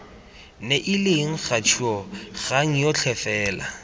neileng kgature kgang yotlhe fela